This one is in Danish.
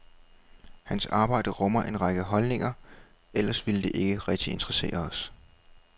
Hans arbejde rummer en række holdninger, ellers ville det ikke rigtig interessere os.